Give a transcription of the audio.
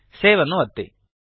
save ಅನ್ನು ಒತ್ತಿ